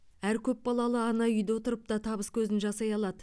әр көпбалалы ана үйде отырып та табыс көзін жасай алады